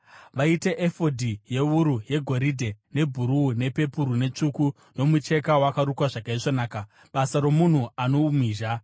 “Vaite efodhi yewuru yegoridhe, nebhuruu, pepuru netsvuku, nomucheka wakarukwa zvakaisvonaka, basa romunhu ano umhizha.